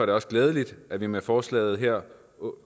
det også glædeligt at vi med forslaget her